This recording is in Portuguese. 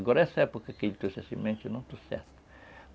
Agora essa época que a gente trouxe a semente eu não estou certo.